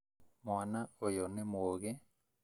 Mwana ũyũ nĩ mũgĩ